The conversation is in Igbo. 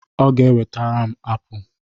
Ọ ga e wetere m apụl